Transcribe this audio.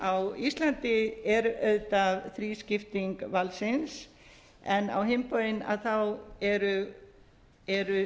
þingmannsstarfa á íslandi er auðvitað þrískipting valdsins en á hinn bóginn eru